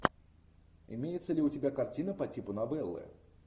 имеется ли у тебя картина по типу новеллы